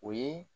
O ye